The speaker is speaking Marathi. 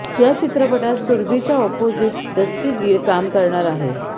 या चित्रपटात सुरभिच्या ऑपोजिट जस्सी गिल काम करणार आहे